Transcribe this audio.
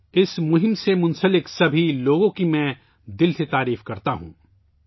میں اس مہم میں شامل تمام لوگوں کی تہہ دل سے ستائش کرتا ہوں